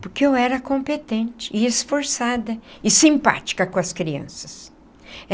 Porque eu era competente, e esforçada, e simpática com as crianças.